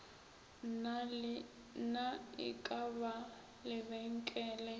na e ka ba lebenkele